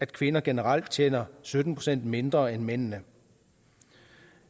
kvinder generelt tjener sytten procent mindre end mændene